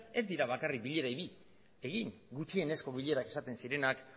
ez dira bakarrik bilera bi egin gutxienezko bilerak esaten zirenak